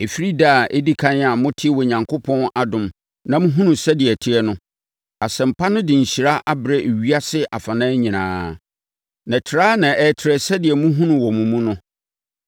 Ɛfiri da a ɛdi ɛkan a motee Onyankopɔn adom na mohunuu sɛdeɛ ɛteɛ no, Asɛmpa no de nhyira abrɛ ewiase afanan nyinaa, na trɛ ara na ɛretrɛ sɛdeɛ mohunu no wɔ mo mu no.